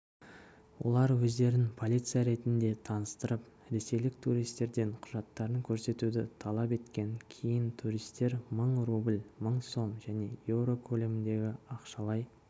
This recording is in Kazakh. олар өздерін полиция ретінде таныстырып ресейлік туристерден құжаттарын көрсетуді талап еткен кейін туристер мың рубль мың сом және еуро көлеміндегі ақшалай